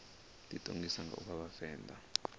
ḓiṱongisa nga u vha vhavenḓa